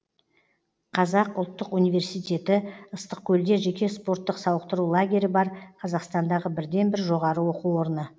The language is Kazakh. қазақ ұлттық университеті ыстық көлде жеке спорттық сауықтыру лагері бар қазақстандағы бірден бір жоғары оқу орны